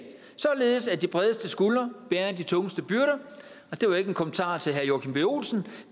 således at de bredeste skuldre bærer de tungeste byrder og det var ikke en kommentar til herre joachim b olsen